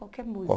Qualquer música.